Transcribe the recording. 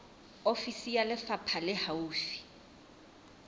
ofisi ya lefapha le haufi